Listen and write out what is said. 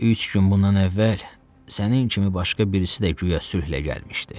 Üç gün bundan əvvəl sənin kimi başqa birisi də guya sülhlə gəlmişdi.